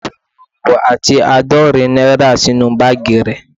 O fi irinwo ati aadorin naira sinu baagi re